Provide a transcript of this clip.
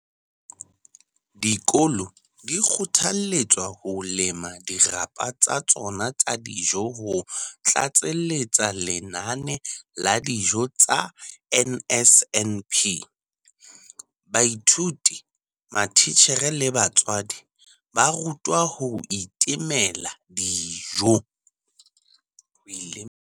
Dikolo di kgothaletswa ho lema dirapa tsa tsona tsa dijo ho tlatseletsa lenane la dijo tsa NSNP. Baithuti, matitjhere le batswadi ba rutwa ho itemela dijo.